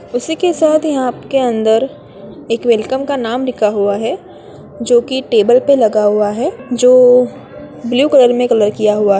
उसी के साथ यहाँ के अंदर एक वेलकम का नाम लिखा हुआ है जोकी टेबल पर लगा हुआ है जो ब्लू कलर में कलर किया हुआ है।